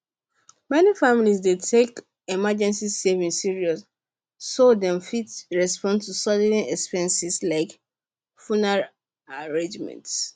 many families dey take emergency savings serious so dem fit respond to sudden expenses like funeral arrangements